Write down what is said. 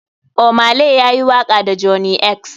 Ohmay lay ya yi waka da johney x.